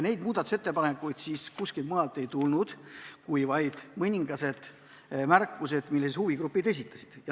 Muudatusettepanekuid kuskilt ei tulnud, olid vaid mõningased märkused, mis huvigrupid esitasid.